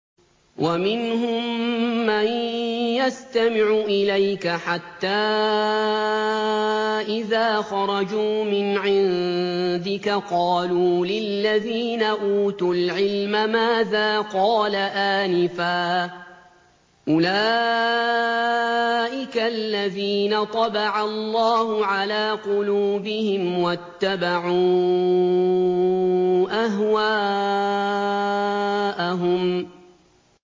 وَمِنْهُم مَّن يَسْتَمِعُ إِلَيْكَ حَتَّىٰ إِذَا خَرَجُوا مِنْ عِندِكَ قَالُوا لِلَّذِينَ أُوتُوا الْعِلْمَ مَاذَا قَالَ آنِفًا ۚ أُولَٰئِكَ الَّذِينَ طَبَعَ اللَّهُ عَلَىٰ قُلُوبِهِمْ وَاتَّبَعُوا أَهْوَاءَهُمْ